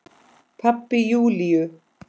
Pabbi Júlíu?